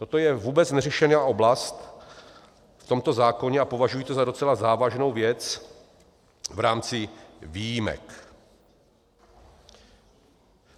Toto je vůbec neřešená oblast v tomto zákoně a považuji to za docela závažnou věc v rámci výjimek.